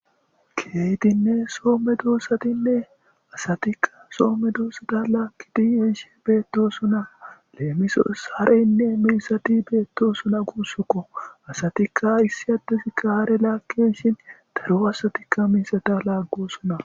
Keytinne soomme duussatinne asatikka soomme duusata laakkiti isshi beetto suna leemiso sareynne milsati beetto suna guussukko asatikka issi addesi kaare laakkishin daru asatikka milsata laaggosuna.